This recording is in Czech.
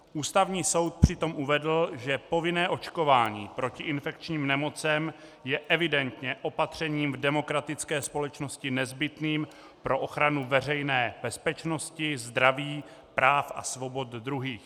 Ústavní soud přitom uvedl, že povinné očkování proti infekčním nemocem je evidentně opatřením v demokratické společnosti nezbytným pro ochranu veřejné bezpečnosti, zdraví, práv a svobod druhých.